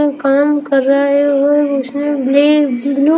कर रहा है और उसने बि ब्ल्यू --